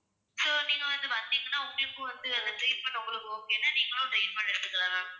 so நீங்க வந்து வந்தீங்கன்னா உங்களுக்கும் வந்து அந்த treatment ன்னா உங்களுக்கு okay னா நீங்களும் treatment எடுத்துக்கலாம் ma'am